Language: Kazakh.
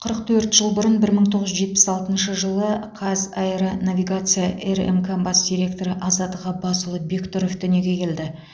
қырық төрт жыл бұрын бір мың тоғыз жүз жетпіс алтыншы жылы қазаэронавигация рмк бас директоры азат ғаббасұлы бектұров дүниеге келді